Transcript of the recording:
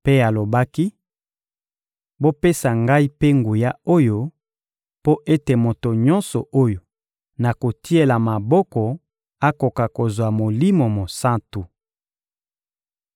mpe alobaki: — Bopesa ngai mpe nguya oyo, mpo ete moto nyonso oyo nakotiela maboko akoka kozwa Molimo Mosantu.